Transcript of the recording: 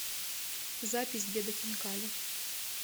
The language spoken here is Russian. запись деда хинкали